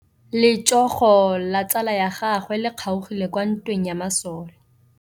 Letsôgô la tsala ya gagwe le kgaogile kwa ntweng ya masole.